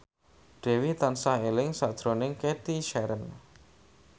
Dewi tansah eling sakjroning Cathy Sharon